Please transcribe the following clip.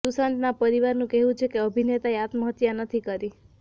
સુશાંતના પરિવારનું કહેવું છે કે અભિનેતાએ આત્મહત્યા નથી કરી